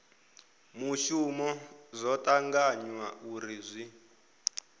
muvhuso zwo tanganywa uri zwi